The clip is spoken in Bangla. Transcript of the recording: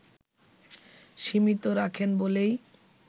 সীমিত রাখেন বলেই